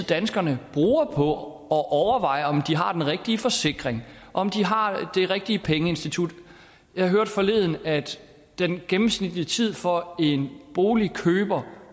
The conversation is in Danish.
danskerne bruger på at overveje om de har den rigtige forsikring om de har det rigtige pengeinstitut jeg hørte forleden at den gennemsnitlige tid for en boligkøber